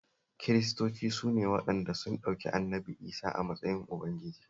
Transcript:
Kiristoci su ne waɗanda sun ɗauki Annabi Isah a matsayin Ubangiji